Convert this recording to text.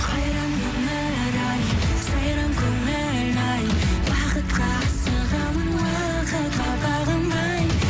қайран өмір ай сайран көңіл ай бақытқа асығамын уақытқа бағынбай